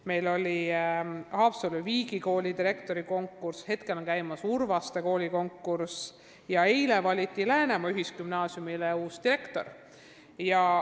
Meil oli hiljuti konkurss Haapsalu Viigi Kooli direktori kohale, praegu käib konkurss Urvaste koolile juhi leidmiseks ja eile valiti Läänemaa Ühisgümnaasiumile uus direktor.